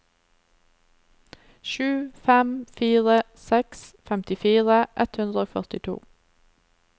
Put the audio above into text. sju fem fire seks femtifire ett hundre og førtito